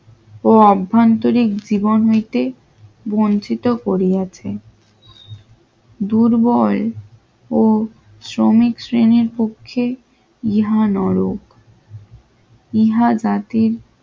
ও অভ্যন্তরিক জীবন হইতে বঞ্চিত করিয়াছে, দুর্বল ও শ্রমিক শ্রেণীর পক্ষে ইহা ন র ইহা জাতির